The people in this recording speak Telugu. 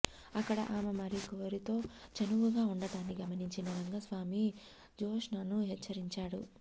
అక్కడ ఆమె మరొకరితో చనువుగా వుండడాన్ని గమనించిన రంగస్వామి జ్యోత్స్నను హెచ్చరించాడు